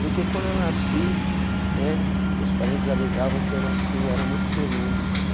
Porque quando eu nasci né, meus parentes alegavam que eu nasci e eu era muito peludo.